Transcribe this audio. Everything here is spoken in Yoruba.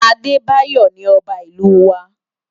Abebayo ni òbá Ilú wá